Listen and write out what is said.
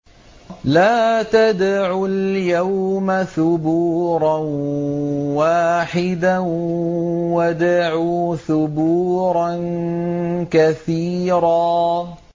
لَّا تَدْعُوا الْيَوْمَ ثُبُورًا وَاحِدًا وَادْعُوا ثُبُورًا كَثِيرًا